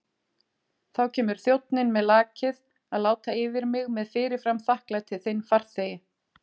Þá kemur þjónninn með lakið að láta yfir mig með fyrirfram þakklæti þinn farþegi.